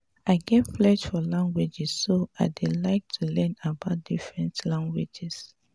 i get flare for languages so i dey like to learn about different languages